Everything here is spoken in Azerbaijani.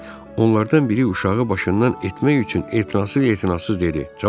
Onlardan biri uşağı başından etmək üçün etinasız-etinasız dedi: